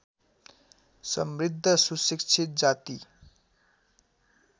समृद्ध सुशिक्षित जाति